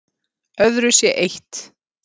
Öðru sé eytt